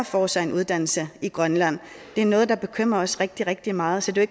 får sig en uddannelse i grønland det er noget der bekymrer os rigtig rigtig meget så det er